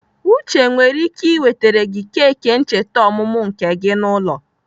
Uche nwere ike ị wetere gị keki ncheta ọmụmụ nke gị n'ụlọ.